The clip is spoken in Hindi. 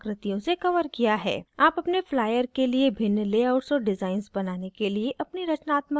आप अपने flyer के लिए भिन्न लेआउट्स और डिज़ाइन्स बनाने के लिए अपनी रचनात्मकता प्रयोग कर सकते हैं